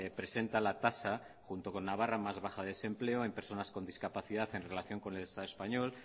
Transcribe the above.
presenta la tasa junto con navarra más baja de desempleo en personas con discapacidad en relación con el estado español